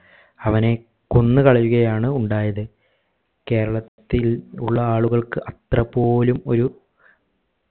അവനെ കൊന്നുകളയുക ആണ് ഉണ്ടായത് കേരളത്തിൽ ഉള്ള ആളുകൾക്ക് അത്രപോലും ഒരു